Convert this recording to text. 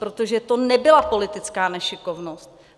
Protože to nebyla politická nešikovnost.